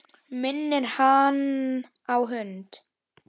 Minnir hann á hund.